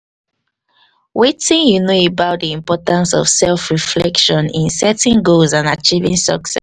wetin you know about di importance of self reflection in setting goal and acheiving